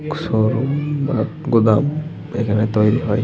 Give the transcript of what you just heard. Showroom গুদাম এখানে তৈরি হয়।